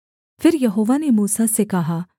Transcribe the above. फिर यहोवा ने मूसा से कहा